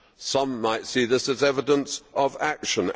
Some might see this as evidence of action.